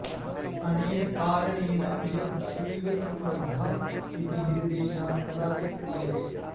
अनेन कारणेन इयं शैवसम्बद्धा इति निर्देशः कदाचित् क्रियते